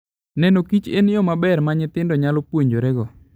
Neno kichen yo maber ma nyithindo nyalo puonjorego.